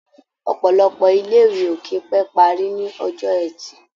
Ọ̀pọ̀lọpọ̀ ilé-ìwé ò kì í pé parí ní Ọjọ́ẹtì.